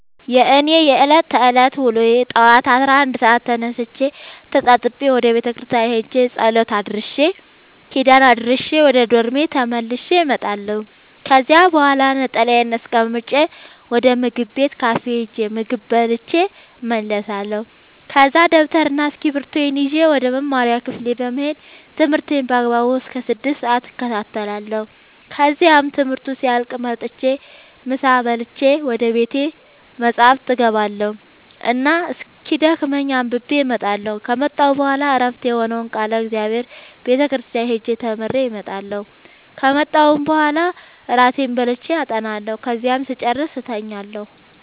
የእኔ የዕለት ተዕለት ውሎዬ ጠዋት አስራ አንድ ሰአት ተነስቼ ተጣጥቤ ወደ ቤተክርስቲያን ሄጄ ጸሎት አድርሼ ኪዳን አድርሼ ወደ ዶርሜ ተመልሼ እመጣለሁ ከዚያ በኋላ ነጠላዬን አስቀምጬ ወደ ምግብ ቤት ካፌ ሄጄ ምግብ በልቼ እመለሳለሁ ከዛ ደብተርና እስኪብርቶዬን ይዤ ወደ መማሪያ ክፍሌ በመሄድ ትምህርቴን በአግባቡ እስከ ስድስት ሰአት እከታተላለሁ ከዚያም ትምህርቱ ሲያልቅ መጥቼ ምሳ በልቼ ወደ ቤተ መፅሀፍ እገባ እና እስኪደክመኝ አንብቤ እመጣለሁ ከመጣሁ በኋላ ዕረፍት የሆነውን ቃለ እግዚአብሔር ቤተ ክርስቲያን ሄጄ ተምሬ እመጣለሁ ከመጣሁም በኋላ እራቴን በልቼ አጠናለሁ ከዚያም ስጨርስ እተኛለሁ።